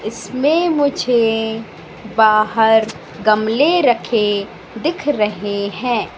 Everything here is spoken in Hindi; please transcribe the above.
इसमें मुझे बाहर गमले रखे दिख रहे हैं।